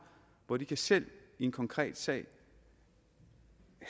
hvor de selv i en konkret sag